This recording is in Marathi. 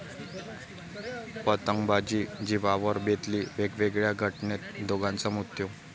पतंगबाजी जिवावर बेतली, वेगवेगळ्या घटनेत दोघांचा मृत्यू